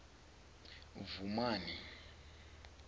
vhumani